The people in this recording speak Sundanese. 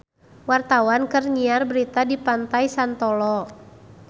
Wartawan keur nyiar berita di Pantai Santolo